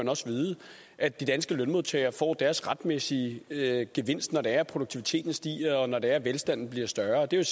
også vide at de danske lønmodtagere får deres retmæssige gevinst når det er at produktiviteten stiger og når det er at velstanden bliver større det er